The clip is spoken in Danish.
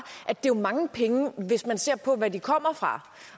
at det jo er mange penge hvis man ser på hvad de kommer fra